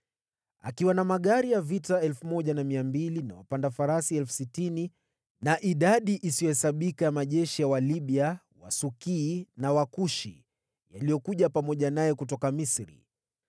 Akiwa na magari ya vita 1,200 na wapanda farasi 60,000 na idadi isiyohesabika ya majeshi ya Walibia, Wasukii na Wakushi yaliyokuja pamoja naye kutoka Misri.